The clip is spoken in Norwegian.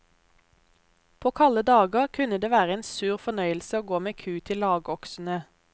På kalde dager kunne det være en sur fornøyelse å gå med ku til lagoksene.